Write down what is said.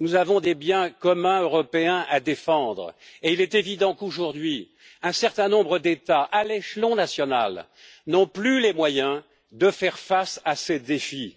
nous avons des biens communs européens à défendre et il est évident qu'un certain nombre d'États, à l'échelon national, n'ont aujourd'hui plus les moyens de faire face à ces défis.